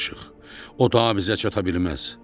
O daha bizə çata bilməz.